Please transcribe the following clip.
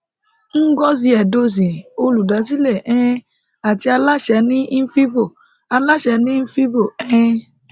ngozi edozien olùdásílẹ um àti aláṣẹ ní invivo aláṣẹ ní invivo um